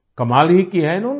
कमाल ही किया है न इन्होंने